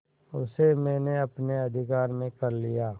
उसे मैंने अपने अधिकार में कर लिया